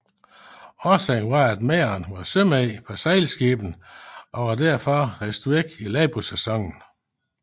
Årsagen var at mændene var sømænd på sejlskibene og var derfor bortrejst i landbrugssæsonen